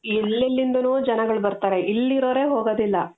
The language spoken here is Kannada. ಎಲ್ಲೆಲಿಂದಾನೋ ಜನಗಳು ಬರ್ತಾರೆ ಇಲ್ಲಿರೋರೆ ಹೋಗೋದಿಲ್ಲ .